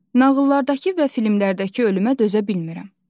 Nağıllardakı və filmlərdəki ölümə dözə bilmirəm.